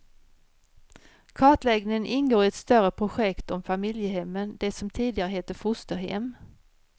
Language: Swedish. Kartläggningen ingår i ett större projekt om familjehemmen, det som tidigare hette fosterhem.